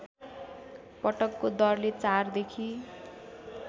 पटकको दरले ४ देखि